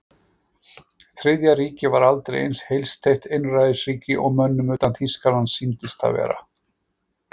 Þriðja ríkið var aldrei eins heilsteypt einræðisríki og mönnum utan Þýskalands sýndist það vera.